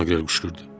Maqrel qışqırdı.